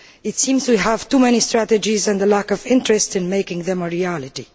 It seems we have too many strategies and a lack of interest in making them a reality.